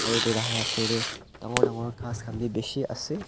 aru edu tahan la osor tae dangor dangor ghas khan bi bishi ase.